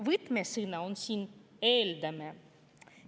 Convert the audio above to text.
" Võtmesõna on siin "eeldame".